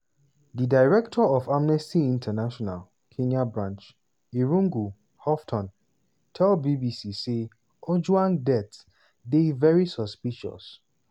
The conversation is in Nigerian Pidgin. di director of amnesty international kenya branch irungu houghton tell bbc say ojwang death dey "very suspicious".